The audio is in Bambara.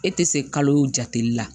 E tɛ se kalo o jate la